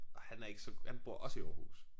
Og han er ikke så han bor også i Aarhus